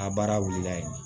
A baara wulila yen